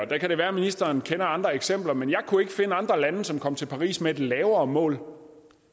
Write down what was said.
det kan være ministeren kender andre eksempler men jeg kunne ikke finde andre lande som kom til paris med et lavere mål